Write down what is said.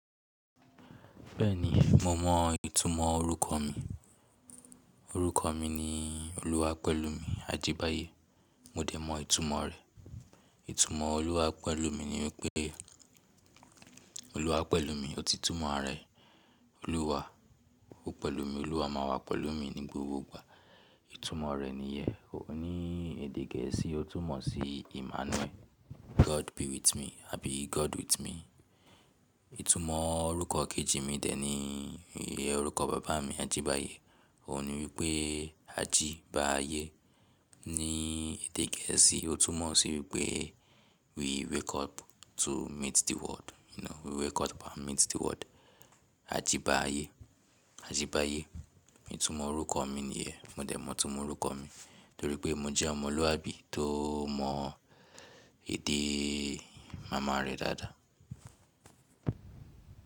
Bẹ́ẹ̀ni, mo mọ ìtumọ̀ orúkọ mi. Orúkọ mi ni Oluwapẹ̀lúmi Ajíbáyé. Mo dẹ̀ mọ ìtunmọ̀ rẹ̀. Ìtumọ̀ Oluwapẹ̀lúmi ni wípé, Oluwa pẹ̀lú mi, ó ti túmọ̀ rẹ̀. Oluwa, ó pẹ̀lú mi. Olúwa máa wà pẹ̀lú mi ní gbogbo ìgbà. Ìtumọ̀ rẹ̀ nìyẹn. Ó ní èdè gẹ̀ẹ́sì ó tún mọ̀ sí Emmanuel, God be with me àbí God with me. Ìtumọ̀ orúkọ kejì mi dẹ̀ ni orúkọ bàbá mi Ajíbáyé. Ó ní wípé aji ba ayé. Ni èdè gẹ̀ẹ́sì ó tún mọ̀ sí wípé we wake up to meet the world. You know we wake up and meet the world. Ajíbáyé, Ajíbáyé. Ìtumọ̀ orúkọ mi nìyẹn. Mo dẹ̀ mọ ìtumọ̀ orúkọ mi torí pé mo jẹ́ ọmọlúàbí tó mọ èdè màmá rẹ̀ dáadáa.